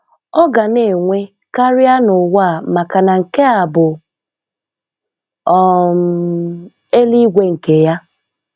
Ọ́ gà ná-ènwé kárị́á n'ụ̀wá à màkà nà ṅké à bụ̀ um élúígwe ṅkè yá